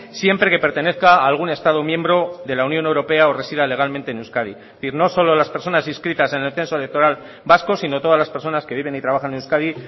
siempre que pertenezca a algún estado miembro de la unión europea o resida legalmente en euskadi es decir no solo las personas inscritas en el censo electoral vasco sino todas las personas que viven y trabajan en euskadi